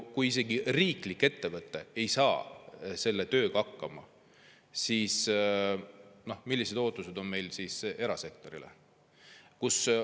Kui isegi riiklik ettevõte ei saa selle tööga hakkama, siis millised ootused on meil erasektorile?